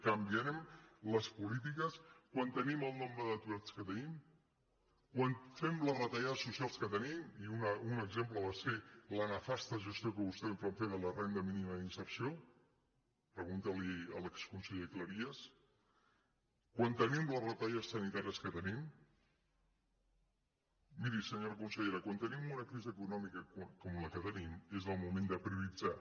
canviarem les polítiques quan tenim el nombre d’aturats que tenim quan fem les retallades socials que tenim i un exemple va ser la nefasta gestió que vostès van fer de la renda mínima d’inserció pregunti li ho a l’exconseller cleries quan tenim les retallades sanitàries que tenim miri senyora consellera quan tenim una crisi econòmi ca com la que tenim és el moment de prioritzar